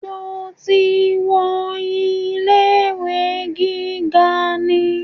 Sọ ti wọ ilé ìwé gíga ni?